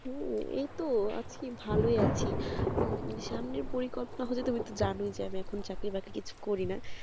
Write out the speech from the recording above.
হু এই তো আছি ভালোই আছি সামনের পরিকল্পনা হচ্ছে তুমি তো জানোই আমি তো এখন চাকরি বাকরি কিছু করি না